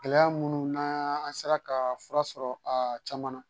Gɛlɛya minnu n'an an sera ka fura sɔrɔ a caman na